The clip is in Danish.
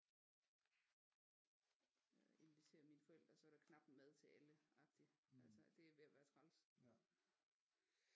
Inviterer mine forældre så er der knapt mad til alle agtigt det er ved at være træls